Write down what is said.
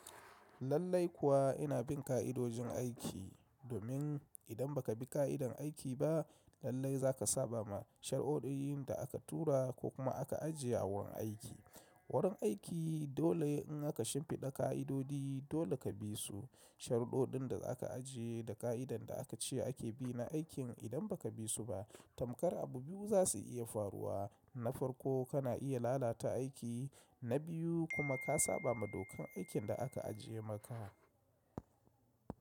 Lallai kuwa ina bin ka’idojin aiki domin idan ba ka bi ka’idar aiki ba lallai za ka saba ma sharuɗɗun da aka tura ko kuma aka ajiye a wurin aiki. Wurin aiki dole in aka shimfiɗa ƙa’idodi dole ka bi su. Sharuɗɗin da aka ajiye da ƙa’idan da aka ce ake bi na aikin idan ba ka bi su ba tamkar abu biyu za su iya faruwa. Na farko kana iya lalata aiki, na biyu kuma ka saba ma dokar aikin da aka ajiye maka.